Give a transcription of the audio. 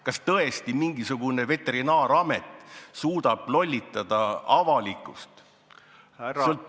Kas tõesti mingisugune Veterinaaramet suudab lollitada avalikkust?